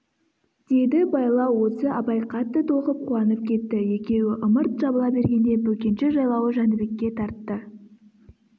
деді байлау осы абай қатты толқып қуанып кетті екеуі ымырт жабыла бергенде бөкенші жайлауы жәнібекке тартты